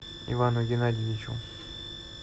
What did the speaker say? ивану геннадьевичу